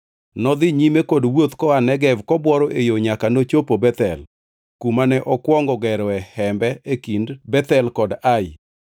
Nodhi nyime kod wuoth koa Negev kobuoro e yo nyaka nochopo Bethel, kumane okwongo geroe hembe e kind Bethel kod Ai,